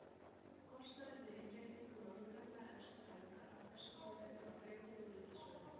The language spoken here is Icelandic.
Kostnaður við innréttingu norðurenda efstu hæðar af þessu tilefni var greiddur úr ríkissjóði.